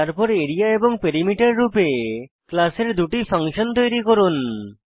তারপর আরিয়া এবং পেরিমিটার রূপে ক্লাসের দুটি ফাংশন তৈরী করুন